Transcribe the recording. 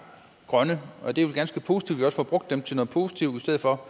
grønne og det er ganske positivt også får brugt dem til noget positivt i stedet for